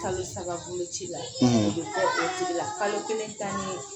kalosababoloci la a bƐ bɔ o cogo la kalo kelen taale